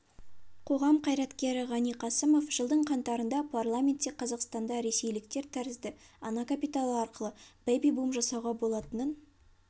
қоғам қайраткері ғани қасымов жылдың қаңтарында парламентте қазақстанда ресейліктер тәрізді ана капиталы арқылы бэби-бум жасауға болатынын